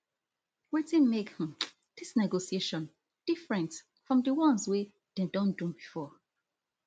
wetin make um dis negotiation different from di ones wey dem don do before